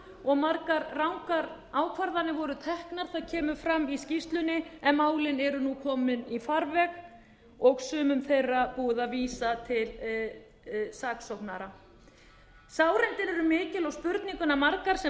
og margar rangar ákvarðanir voru teknar það kemur fram í skýrslunni en málin eru nú komin í farveg og sumum þeirra búið að vísa til saksóknara sárindi eru mikil og spurningarnar margar sem